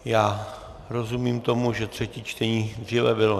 Já rozumím tomu, že třetí čtení dříve bylo...